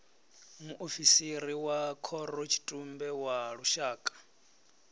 muofisiri wa khorotshitumbe wa lushaka